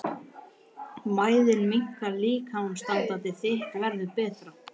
Mæðin minnkar- líkamsástand þitt verður betra.